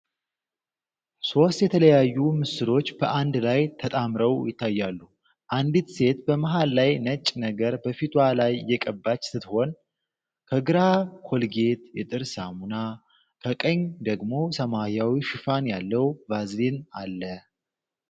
ሶስት የተለያዩ ምስሎች በአንድ ላይ ተጣምረው ይታያሉ። አንዲት ሴት በመሃል ላይ ነጭ ነገር በፊቷ ላይ እየቀባች ስትሆን፣ ከግራ ኮልጌት የጥርስ ሳሙና፣ ከቀኝ ደግሞ ሰማያዊ ሽፋን ያለው ቫዝሊን አለ።